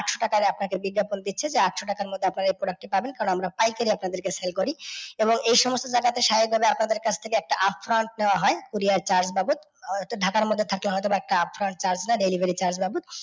আটশো টাকায় আপনাকে বিজ্ঞাপন দিচ্ছে যে আটশো টাকার মধ্যে আপনারা এই product টা পাবেন কারণ আমরা পাইকারি rate এ আপনাদেরকে